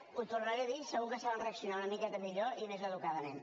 ho tornaré a dir segur que saben reaccionar una miqueta millor i més educadament